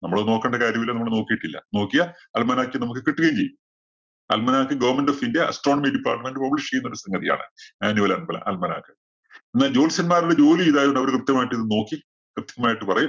നമ്മള് നോക്കണ്ട കാര്യമില്ല. നമ്മള് നോക്കീട്ടില്ല. നോക്കിയാ Almanac നമക്ക് കിട്ടുകയും ചെയ്യും. Almanac government of india astronomy department publish ചെയ്യുന്ന സംഗതിയാണ്. manual al~almanac എന്നാല്‍ ജോത്സ്യന്മാരുടെ ജോലി ഇതായത് കൊണ്ട് അവരിത് കൃത്യമായിട്ട്‌ ഇത് നോക്കി കൃത്യമായിട്ട്‌ പറയും.